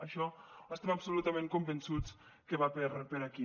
això estem absolutament convençuts que va per aquí